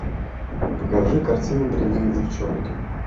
покажи картину дрянные девчонки